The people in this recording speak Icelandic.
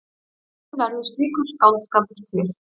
Hvernig verður slíkur skáldskapur til?